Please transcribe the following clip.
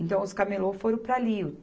Então, os camelô foram para ali.